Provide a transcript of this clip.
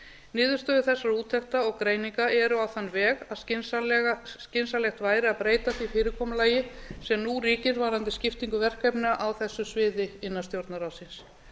niðurstöður þessara úttekta og greininga eru á þann veg að skynsamlegt væri að breyta því fyrirkomulagi sem nú ríkir varðandi skiptingu verkefna á þessu sviði innan stjórnarráðsins